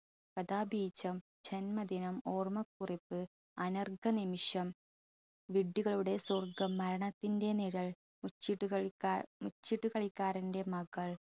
കഥാഭീജം, ജന്മദിനം, ഓർമ്മക്കുറിപ്പ്, അനർഘ നിമിഷം, വിഡ്ഢികളുടെ സ്വർഗം, മരണത്തിന്റെ നിഴൽ, മുച്ചീട്ടു കളിക്കാർ മുച്ചീട്ടുകളിക്കാരന്റെ മകൾ